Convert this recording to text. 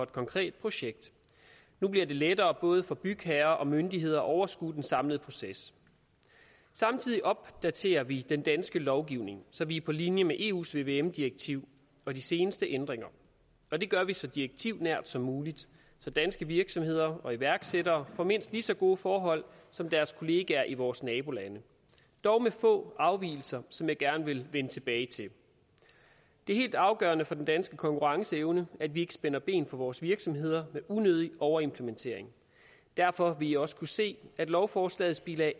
konkret projekt nu bliver det lettere både for bygherrer og myndigheder at overskue den samlede proces samtidig opdaterer vi den danske lovgivning så vi er på linje med eus vvm direktiv og de seneste ændringer og det gør vi så direktivnært som muligt så danske virksomheder og iværksættere får mindst lige så gode forhold som deres kollegaer i vores nabolande dog med få afvigelser som jeg gerne vil vende tilbage til det er helt afgørende for den danske konkurrenceevne at vi ikke spænder ben for vores virksomheder med unødig overimplementering derfor vil man også kunne se at lovforslagets bilag